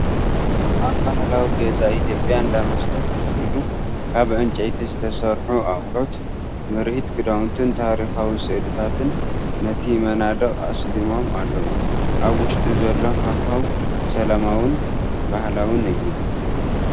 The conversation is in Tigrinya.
ኣብ ባህላዊ ገዛ ኢትዮጵያ እንዳ መስተ ተተኺሉ፣ ካብ ዕንጨይቲ ዝተሰርሑ ኣቑሑት፡ ምርኢት ክዳውንትን ታሪኻዊ ስእልታትን ነቲ መናድቕ ኣስሊሞሞ ኣለዉ። ኣብ ውሽጢ ዘሎ ሃዋህው ሰላማውን ባህላውን እዩ።